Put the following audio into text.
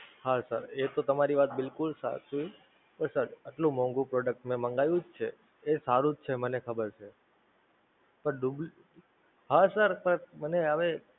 હા Sir એ તો તમારી વાત બિલકુલ સાચી, એટલું મોંઘું Product મે મંગાવ્યું જ છે એ સારું જ છે મને ખબર છે. પણ તો ભી, હા Sir Sir મને હવે